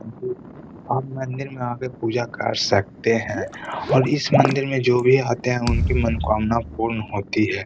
आप मंदिर में आकर पूजा कर सकते हैं और इस मंदिर में जो भी आते है उनकी मनोकामना पूर्ण होती है।